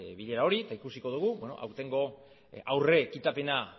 bilera hori eta ikusiko dugu aurtengo aurre ekitapena